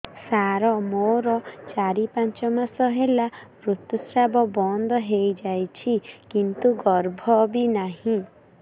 ସାର ମୋର ଚାରି ପାଞ୍ଚ ମାସ ହେଲା ଋତୁସ୍ରାବ ବନ୍ଦ ହେଇଯାଇଛି କିନ୍ତୁ ଗର୍ଭ ବି ନାହିଁ